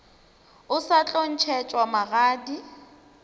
o sa tlo ntšhetšwa magadi